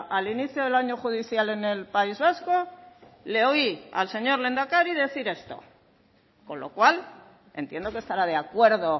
al inicio del año judicial en el país vasco le oí al señor lehendakari decir esto con lo cual entiendo que estará de acuerdo